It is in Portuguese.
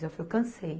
eu cansei.